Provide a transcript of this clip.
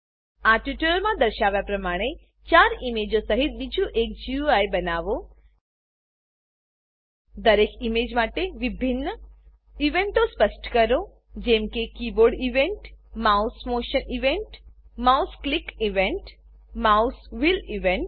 આ ટ્યુટોરીયલમાં દર્શાવ્યા પ્રમાણે ચાર ઈમેજો સહીત બીજું એક ગુઈ બનાવો દરેક ઈમેજ માટે વિભિન્ન ઇવેન્ટો સ્પષ્ટ કરો જેમ કે keyboard event mouse motion event mouse click event mouse wheel event